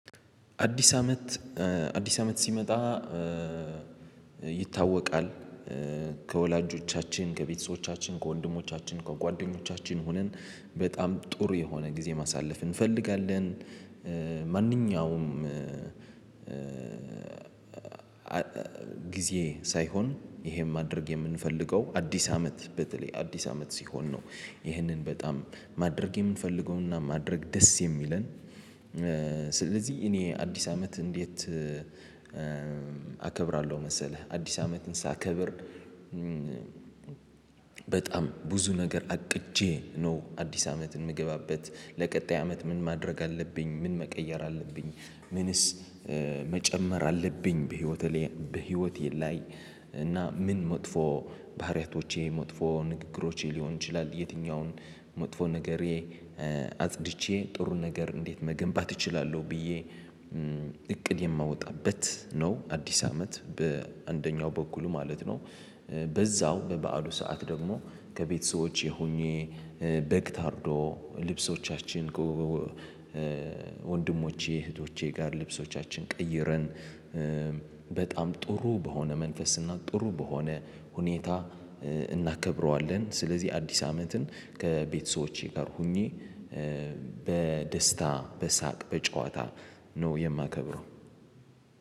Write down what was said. አዲስ አመት ሲመጣ ይታወቃል ከወላጆቻችን ከቤተሰቦቻችን ከወንድሞቻችን ከጓደኞቻችን ሆነን በጣም ጥሩ የሆነ ጊዜ ማሳለፍ እንፈልጋለን። ማንኛውም ጊዜ ሳይሆን ይሄን ማድረግ የምንፈልገው አዲስ አመት በተለይ አዲስ አመት ሲሆን ነው ይሄንን በጣም ማድረግ የምንፈልገውና ማድረግ ደስ የሚለን። ስለዚህ እኔ አዲስ አመት እንዴት አከብራለሁ መሰለህ አዲስ አመትን ሳከብር። በጣም ብዙ ነገር አቅጄ ነው አዲስ አመትን የምገባበት ለቀጣይ አመት ምን ማድረግ አለብኝ ምን መቀየር አለብኝ። ምንስ መጨመር አለብኝ በህይወቴ ላይ በህይወቴ ላይ እና ምን መጥፎ ባህሪያቶቼ መጥፎ ንግግሮቼ ሊሆን ይችላል። የትኛውን መጥፎ ነገሬ አጽድቼ ጥሩ ነገር እንዴት መገንባት እችላለሁ ብዬ እቅድ የማወጣበት ነው። አዲስ አመት በአንደኛው በኩል ማለት ነው። በዛው በበዓሉ ሰዓት ደግሞ ከቤተሰቦቼ ሆኜ በግ ታርዶ ልብሶቻችን ወንድሞቼ እህቶቼ ጋር ልብሶቻችን ቀይረን በጣም ጥሩ በሆነ መንፈስና ጥሩ በሆነ ሁኔታ። እናከብረዋለን። ስለዚህ አዲስ አመትን ከቤተሰቦቼ ጋር ሆኜ በደስታ በሳቅ በጨዋታ ነው የማከብረው